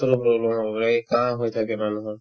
লৈ লই এনেকুৱা হৈ হৈয়ে কাঁহ হৈ থাকে মানুহৰ